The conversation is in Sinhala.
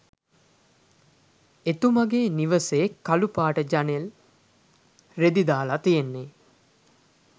එතුමගේ නිවසේ කලු පාට ජනෙල් රෙදි දාලා තියෙන්නේ